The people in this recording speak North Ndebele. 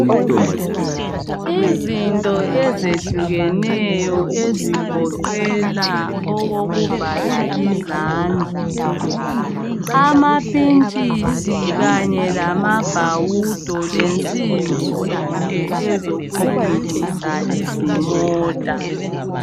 Izinto ezehlukeneyo ezigoqela okokuvala izandla, amapitshisi kanye lamabhawudo lensimbi zonke ezokulungisa izimota.